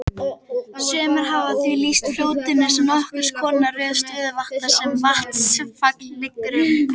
Sumir hafa því lýst fljótinu sem nokkurs konar röð stöðuvatna sem vatnsfall liggur um.